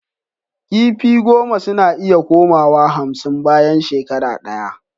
Kifi goma suna iya koma wa hamsin bayan shekara daya